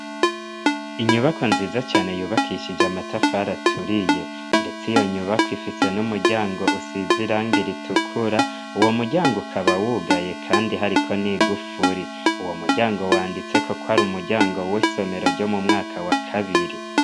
Inyubakwa nziza cane yubakishije amatafari aturiye ndetse iyo nyubako ifise n'umuryango usize irangi ritukura. Uwo muryango ukaba wugaye kandi hariko n'igufuri. Uwo muryango wanditseko kwari umuryango w'isomero ryo mu mwaka wa kabiri.